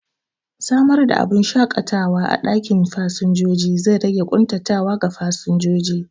Samar da abubun shaƙatawa a ɗakin jiran fasinjoji zai rage ƙuntatawa ga fasinjojin